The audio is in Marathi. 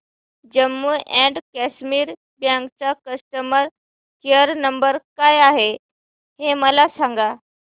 जम्मू अँड कश्मीर बँक चा कस्टमर केयर नंबर काय आहे हे मला सांगा